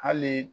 Hali